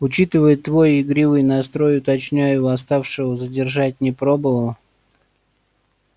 учитывая твой игривый настрой уточняю восставшего задержать не пробовал